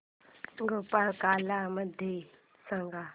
गोपाळकाला मला सांग